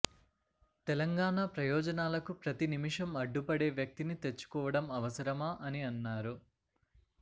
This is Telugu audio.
తెలంగాణ ప్రయోజనాలకు ప్రతి నిమిషం అడ్డుపడే వ్యక్తిని తెచ్చుకోవటం అవసరమా అని అన్నారు